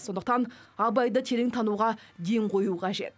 сондықтан абайды терең тануға ден қою қажет